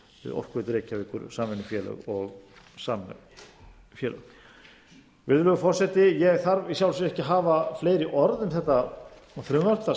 orkuveitu reykjavíkur samvinnufélög og samvinnufélög virðulegi forseti ég þarf í sjálfu sér ekki að hafa fleiri orð um þetta frumvarp það